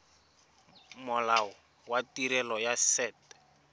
molao wa tirelo ya set